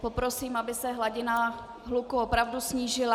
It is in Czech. Poprosím, aby se hladina hluku opravdu snížila.